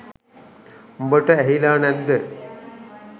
උඹට ඇහිලා නැද්ද